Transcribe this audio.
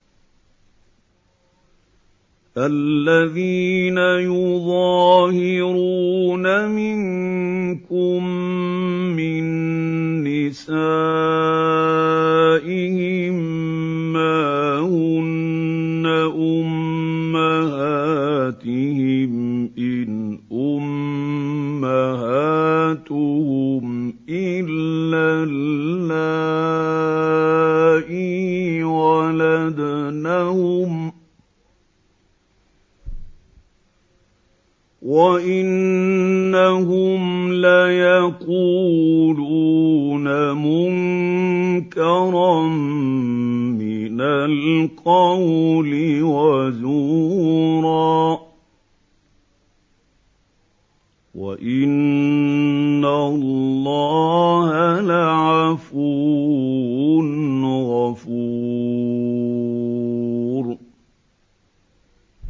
الَّذِينَ يُظَاهِرُونَ مِنكُم مِّن نِّسَائِهِم مَّا هُنَّ أُمَّهَاتِهِمْ ۖ إِنْ أُمَّهَاتُهُمْ إِلَّا اللَّائِي وَلَدْنَهُمْ ۚ وَإِنَّهُمْ لَيَقُولُونَ مُنكَرًا مِّنَ الْقَوْلِ وَزُورًا ۚ وَإِنَّ اللَّهَ لَعَفُوٌّ غَفُورٌ